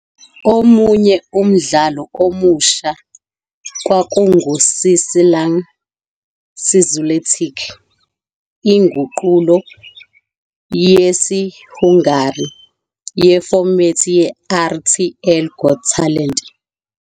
Omunye umdlalo omusha kwakunguCsillag "születik", inguqulo yesiHungary yefomethi "yeRTL Got Talent.